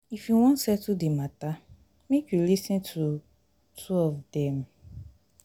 if you wan settle di mata make you lis ten to two of dem.